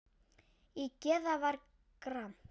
Í geði var gramt.